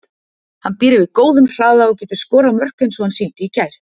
Hann býr yfir góðum hraða og getur skorað mörk eins og hann sýndi í gær.